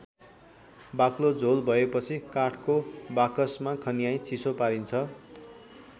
बाक्लो झोल भएपछि काठको बाकसमा खन्याई चिसो पारिन्छ।